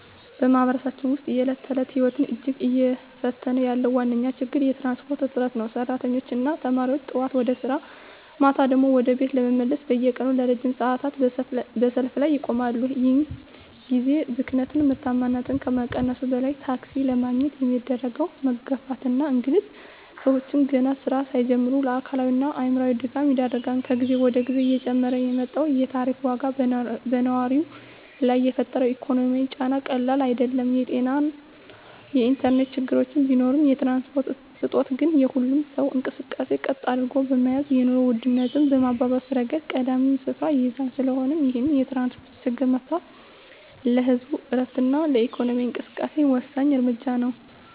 በማኅበረሰባችን ውስጥ የዕለት ተዕለት ሕይወትን እጅግ እየፈተነ ያለው ዋነኛው ችግር የትራንስፖርት እጥረት ነው። ሠራተኞችና ተማሪዎች ጠዋት ወደ ሥራ፣ ማታ ደግሞ ወደ ቤት ለመመለስ በየቀኑ ለረጅም ሰዓታት በሰልፍ ላይ ይቆማሉ። ይህ የጊዜ ብክነት ምርታማነትን ከመቀነሱም በላይ፣ ታክሲ ለማግኘት የሚደረገው መጋፋትና እንግልት ሰዎችን ገና ሥራ ሳይጀምሩ ለአካላዊና አእምሮአዊ ድካም ይዳርጋል። ከጊዜ ወደ ጊዜ እየጨመረ የመጣው የታሪፍ ዋጋም በነዋሪው ላይ የፈጠረው ኢኮኖሚያዊ ጫና ቀላል አይደለም። የጤናና የኢንተርኔት ችግሮች ቢኖሩም፣ የትራንስፖርት እጦት ግን የሁሉንም ሰው እንቅስቃሴ ቀጥ አድርጎ በመያዝ የኑሮ ውድነቱን በማባባስ ረገድ ቀዳሚውን ስፍራ ይይዛል። ስለሆነም ይህንን የትራንስፖርት ችግር መፍታት ለህዝቡ ዕረፍትና ለኢኮኖሚው እንቅስቃሴ ወሳኝ እርምጃ ነው።